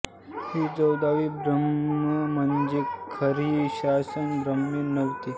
ही चौदाही ब्रम्हे म्हणजे खरी शाश्वत ब्रम्हे नव्हेत